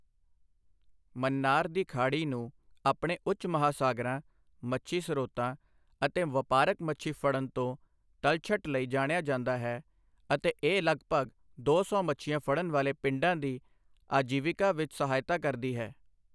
ਮੰਨਾਰ ਦੀ ਖਾੜੀ ਨੂੰ ਆਪਣੇ ਉੱਚ ਮਹਾਸਾਗਰਾਂ ਮੱਛੀ ਸਰੋਤਾਂ ਅਤੇ ਵਪਾਰਕ ਮੱਛੀ ਫੜਨ ਤੋਂ ਤਲਛਟ ਲਈ ਜਾਣਿਆ ਜਾਂਦਾ ਹੈ ਅਤੇ ਇਹ ਲਗਭਗ ਦੋ ਸੌ ਮੱਛੀਆਂ ਫੜਣ ਵਾਲੇ ਪਿੰਡਾਂ ਦੀ ਆਜੀਵਿਕਾ ਵਿੱਚ ਸਹਾਇਤਾ ਕਰਦੀ ਹੈ।